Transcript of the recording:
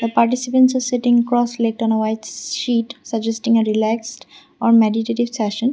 participants sitting cross late and white sheet suggesting a relaxed on meditatited session.